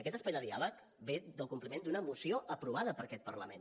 aquest espai de diàleg ve del compliment d’una moció aprovada per aquest parlament